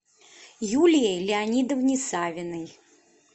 юлии леонидовне савиной